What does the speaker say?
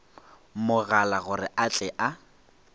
mogala gore a tle a